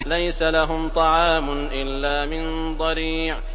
لَّيْسَ لَهُمْ طَعَامٌ إِلَّا مِن ضَرِيعٍ